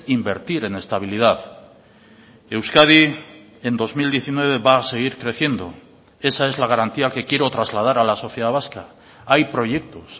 invertir en estabilidad euskadi en dos mil diecinueve va a seguir creciendo esa es la garantía que quiero trasladar a la sociedad vasca hay proyectos